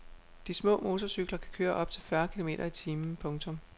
De små motorcykler kan køre op til fyrre kilometer i timen. punktum